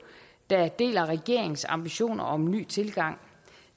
der deler regeringens ambitioner om en ny tilgang